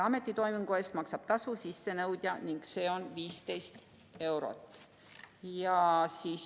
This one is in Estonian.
Ametitoimingu eest maksab tasu sissenõudja ning see tasu on 15 eurot.